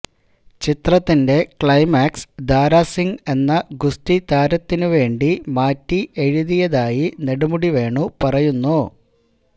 ചിത്രത്തിന്റെ ക്ലൈമാക്സ് ധാരാസിംഗ് എന്ന ഗുസ്തി താരത്തിനു വേണ്ടി മാറ്റി എഴുതിയതായി നെടുമുടി വേണു പറയുന്നു